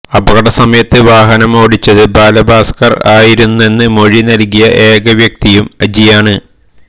അപകടസമയത്ത് വാഹനം ഓടിച്ചത് ബാലഭാസ്കർ ആയിരുന്നെന്ന് മൊഴി നൽകിയ ഏകവ്യക്തിയും അജിയാണ്